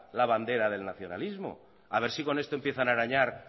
la bandera del nacionalismo a ver si con esto empiezan a arañar